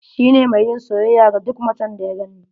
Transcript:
Shi ne mai yin soyayya da duk macen da ya gani.